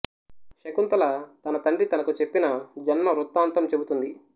శకుంతల తన తండ్రి తనకు చెప్పిన జన్మ వృత్తాంతం చెబుతుంది